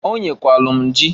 Onyekwalu m jị.